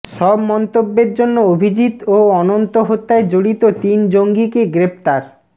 সব মন্তব্যের জন্য অভিজিৎ ও অনন্ত হত্যায় জড়িত তিন জঙ্গিকে গ্রেপ্তার